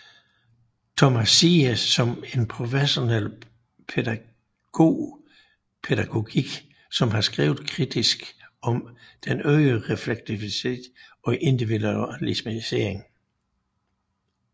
Thomas Ziehe som er professor i pædagogik som har skrevet kritisk om den øgede refleksivitet og individualisering